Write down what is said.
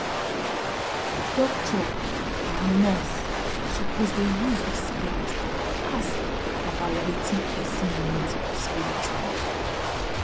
doctor and nurse suppose dey use respect ask about wetin person need spirituali